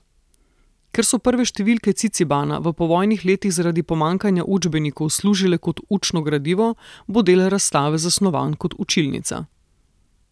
Ker so prve številke Cicibana v povojnih letih zaradi pomanjkanja učbenikov služile kot učno gradivo, bo del razstave zasnovan kot učilnica.